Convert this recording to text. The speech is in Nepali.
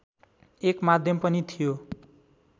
एक माध्यम पनि थियो